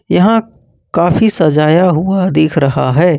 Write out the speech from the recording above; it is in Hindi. यहां काफी सजाया हुआ दिख रहा है।